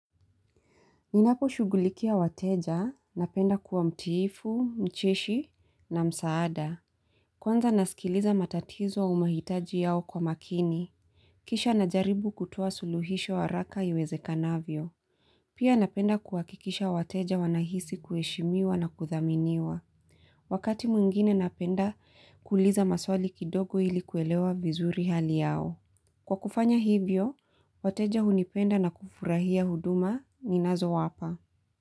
Ninapo shugulikia wateja, napenda kuwa mtiifu, mcheshi na msaada. Kwanza nasikiliza matatizo au mahitaji yao kwa makini. Kisha najaribu kutoa suluhisho wa haraka iweze kanavyo. Pia napenda kuhakikisha wateja wanahisi kueshimiwa na kuthaminiwa. Wakati mwingine napenda kuliza maswali kidogo ilikuwelewa vizuri hali yao. Kwa kufanya hivyo, wateja hunipenda na kufurahia huduma ni nazo wapa.